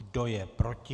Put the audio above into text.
Kdo je proti?